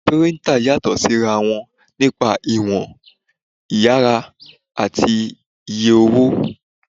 Píríntà yàtọ̀ sí ra wọn nípa ìwọ̀n, ìyára àti iye owó